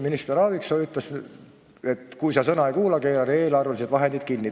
Minister Aaviksoo ütles, et kui sa sõna ei kuula, keeran eelarvelised vahendid kinni.